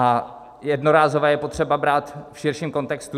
A jednorázové je potřeba brát v širším kontextu.